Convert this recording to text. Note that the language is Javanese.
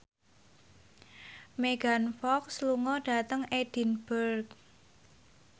Megan Fox lunga dhateng Edinburgh